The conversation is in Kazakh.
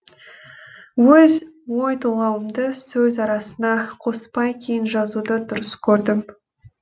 өз ой толғауымды сөз арасына қоспай кейін жазуды дұрыс көрдім